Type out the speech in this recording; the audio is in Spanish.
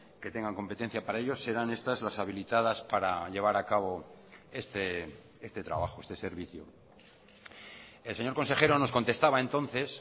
que tengan competencia para ellos serán estas las habilitadas para llevar a cabo este trabajo este servicio el señor consejero nos contestaba entonces